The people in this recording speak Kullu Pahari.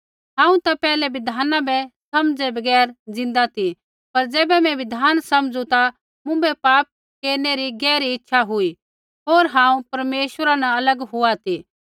हांऊँ ता पैहलै बिधाना बै समझ़ै बगैर ज़िन्दा ती पर ज़ैबै मैं बिधान समझ़ू ता मुँभै पाप केरनै री गहरी इच्छा हुई होर हांऊँ परमेश्वरा अलग हुआ ती